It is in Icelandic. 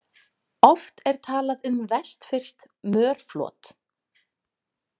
Oft er talað um vestfirskt mörflot.